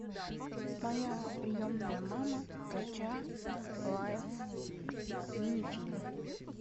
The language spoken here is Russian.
моя приемная мама кача лайф мини фильм